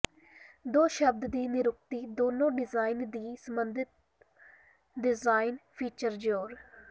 ਦੋ ਸ਼ਬਦ ਦੀ ਨਿਰੁਕਤੀ ਦੋਨੋ ਡਿਜ਼ਾਈਨ ਦੀ ਸਬੰਧਿਤ ਡਿਜ਼ਾਇਨ ਫੀਚਰ ਜ਼ੋਰ